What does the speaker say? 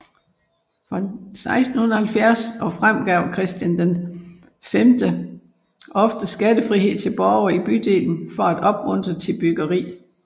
Fra 1670 og frem gav Christian V ofte skattefrihed til borgerne i bydelen for at opmuntre til byggeri